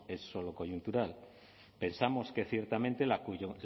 es solo coyuntural pensamos que ciertamente